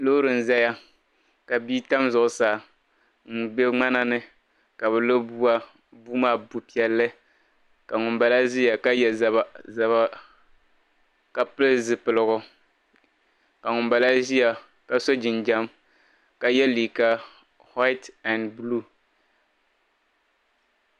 loori n-za ka bia tam zuɣusaa m-be ŋmana ni ka bɛ lo bua bua maa bu' piɛlli ka ŋumbala ʒia ka ye zaba ka pili zipiligu ka ŋumbala ʒia ka so jinjam ka ye liiga waiti ɛn buluu